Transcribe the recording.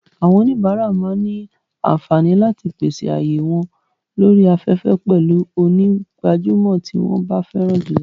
Àwọn oníbàárà máa ní àǹfààní láti pèsè ààyè wọ́n lórí afẹ́fẹ́ pẹ̀lú onígbàjámọ̀ tí wọ́n fẹ́ràn jùlọ.